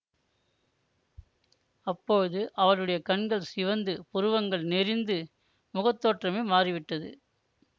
அப்போது அவளுடைய கண்கள் சிவந்து புருவங்கள் நெரிந்து முகத்தோற்றமே மாறி விட்டது